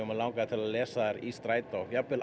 mig langaði til að lesa þær í strætó jafnvel